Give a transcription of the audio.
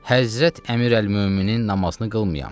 Həzrət Əmirəlmöminin namazını qılmayam.